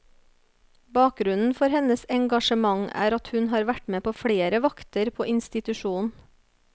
Bakgrunnen for hennes engasjement er at hun har vært med på flere vakter på institusjonen.